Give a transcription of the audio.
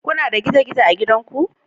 Kuna da gizo-gizo a gidanku?